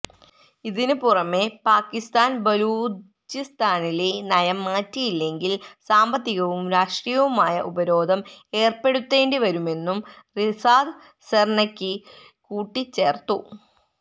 ഇതിന് പുറമെ പാക്കിസ്ഥാന് ബലൂചിസ്ഥാനിലെ നയം മാറ്റിയില്ലെങ്കില് സാമ്പത്തികവും രാഷ്ട്രീയവുമായ ഉപരോധം ഏര്പ്പെടുത്തേണ്ടി വരുമെന്നും റിസാദ് സെര്നെകി കൂട്ടിച്ചേർത്തു